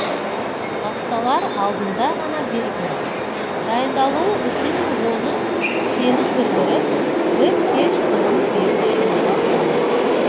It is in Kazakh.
басталар алдында ғана берген дайындалуы үшін оны сенім білдіріп бір кеш бұрын беріп қоюға болмас